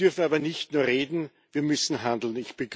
Wir dürfen aber nicht nur reden, wir müssen handeln.